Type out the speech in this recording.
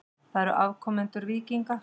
Við erum afkomendur víkinga.